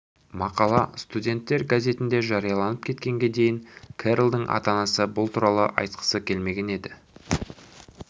мақала студенттер газетінде жарияланып кеткенге дейін керролдың ата-анасы бұл туралы айтқысы келмеген еді